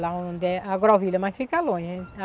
Lá onde é a grovila, mas fica longe.